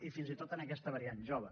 i fins i tot amb aquesta variant jove